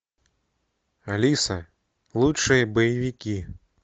алиса лучшие боевики